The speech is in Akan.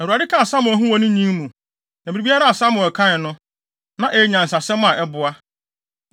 Awurade kaa Samuel ho wɔ ne nyin mu, na biribiara a Samuel kae no, na ɛyɛ nyansasɛm a ɛboa.